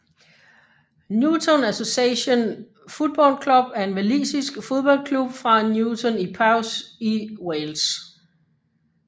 Newtown Association Football Club er en walisisk fodboldklub fra Newtown i Powys i Wales